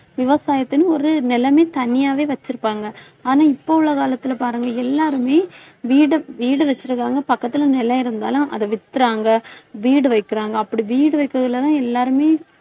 விவசாயத்திக்கு ஒரு நிலமே தனியாவே வச்சிருப்பாங்க ஆனா, இப்ப உள்ள காலத்தில பாருங்க எல்லாருமே வீடு வீடு வச்சிருக்காங்க பக்கத்துல நிலம் இருந்தாலும் அதை வித்துறாங்க. வீடு வைக்கிறாங்க அப்படி வீடு வைக்கறதுலதான் எல்லாருமே